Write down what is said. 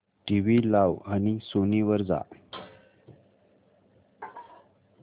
TV लाव आणि Sony वर जा